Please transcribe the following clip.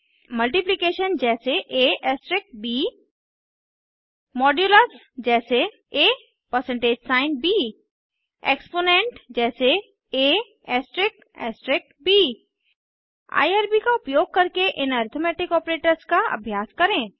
multiplication जैसे ab modulus जैसे ab exponent जैसे ab आईआरबी का उपयोग करके इन अरिथ्मेटिक ऑपरेटर्स का अभ्यास करें